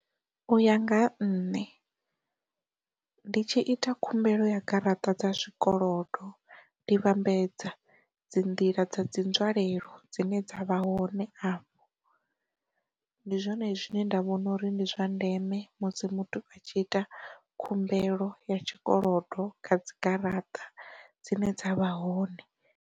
U ya nga ha nṋe, ndi tshi ita khumbelo ya garaṱa dza zwikolodo ndi vhambedza dzi nḓila dza dzi nzwalelo dzine dza vha hone afho, ndi zwone zwine nda vhona uri ndi zwa ndeme musi muthu a tshi ita khumbelo ya tshikolodo kha dzi garaṱa dzine dzavha hone.